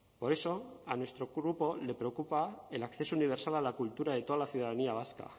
por eso a nuestro grupo le preocupa el acceso universal a la cultura de toda la ciudadanía vasca